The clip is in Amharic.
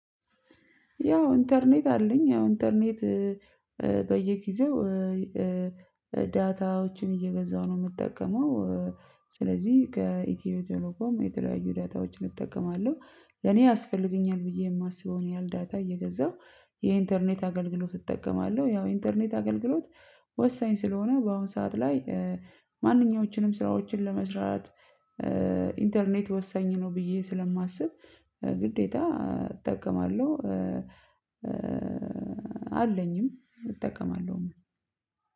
ያው ኢንተርኔት አለኝ ያው ኢንተርኔት እ እ በየጊዜው እ እ ዳታዎችን እየገዛሁ ነው የምጠቀመው እ ስለዚህ ከኢትዮ ቴሌኮም የተለያዩ ዳታዎችን እጠቀማለሁ። እኔ ያስፈልገኛል ብዬ የማስበውን ያህል ዳታ እየገዛሁ የኢንተርኔት አገልግሎት እጠቀማለሁ። ያው ኢንተርኔት አገልግሎት ወሳኝ ስለሆነ በአሁን ሰዓት ላይ እ ማንኛዎችንም ስራዎችን ለመስራት እ ኢንተርኔት ወሳኝ ነው። ብዬ ስለማስብ እ ግዴታ እጠቀማለሁ። እ አለኝም እጠቀማለሁ።